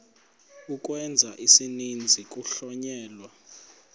ukwenza isininzi kuhlonyelwa